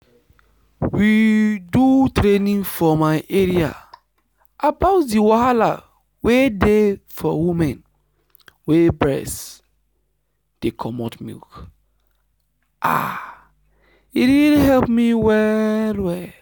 we do training for my area about the wahala wey dey for women wey breast dey comot milk ah e really help me well well.